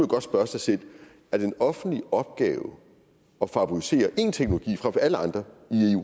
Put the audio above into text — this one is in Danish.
godt spørge sig selv er det en offentlig opgave at favorisere én teknologi frem for alle andre